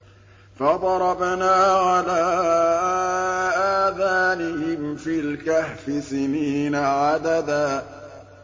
فَضَرَبْنَا عَلَىٰ آذَانِهِمْ فِي الْكَهْفِ سِنِينَ عَدَدًا